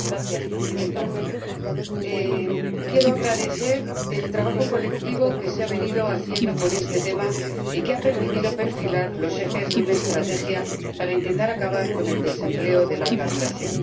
Señora Presidenta, quiero agradecer el trabajo colectivo que se ha venido haciendo sobre este tema y que ha permitido perfilar los ejes de una estrategia para intentar acabar con el desempleo de larga duración.